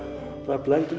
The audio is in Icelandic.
blanda